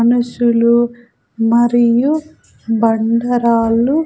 మనుషులు మరియు బండరాళ్లు--